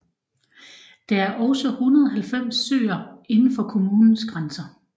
Der er også 190 søer indenfor kommunens grænser